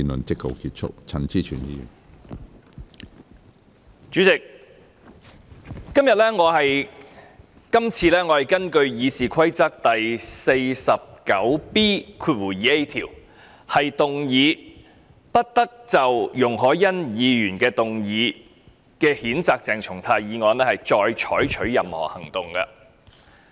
主席，這次我是根據《議事規則》第 49B 條，動議不得就容海恩議員動議譴責鄭松泰議員的議案再採取任何行動。